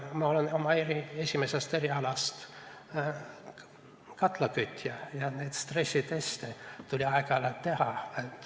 Ma olen oma esimeselt erialalt katlakütja ja neid stressiteste tuli siis aeg-ajalt teha.